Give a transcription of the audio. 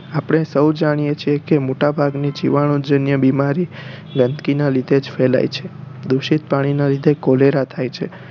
આપણે સૌ જાણીયે છે કે મોટા ભાગની જીવાણુ જન્ય બીમારી ગંદકી ના લીધે જ ફેલાય છે દુષિત પાણી ના લીધે કોલેરા થાય છે